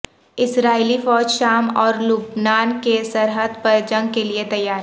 اسرائیلی فوج شام اور لبنان کی سرحد پر جنگ کیلئے تیار